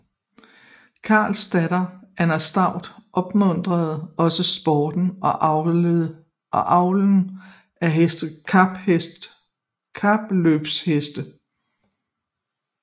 Karls datter Anne Stuart opmuntrede også sporten og avlen af kapløbheste